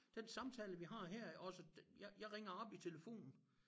Den samtale vi har her også den jeg jeg ringer op i telefonen